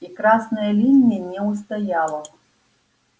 и красная линия не устояла